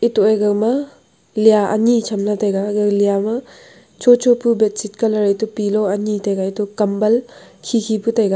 etoh e gama liya ani cham ley tai ga gaga liya ma cho cho bu bedsheet colour ete pillow ani taiga antoh kambal khi khi pu taiga.